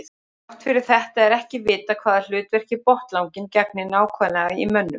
Þrátt fyrir þetta er ekki vitað hvaða hlutverki botnlanginn gegnir nákvæmlega í mönnum.